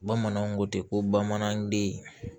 Bamananw ko ten ko bamananden